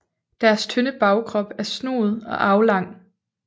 Deres tynde bagkrop er snoet og aflang